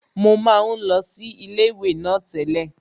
Mo máa ń lọ sí ilé ìwé náà tẹ́lẹ̀